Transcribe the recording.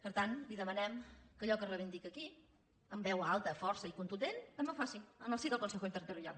per tant li demanem que allò que reivindica aquí amb veu alta força i contundent també ho faci en el si del consejo interterritorial